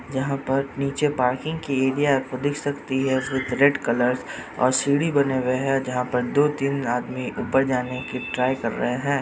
यहां पर नीचे पार्किंग की एरिया आपको दिख सकती है उसमे रेड कलर और बने हुए हैं जहां पर दो तीन आदमी ऊपर जाने की ट्राय कर रहे है ।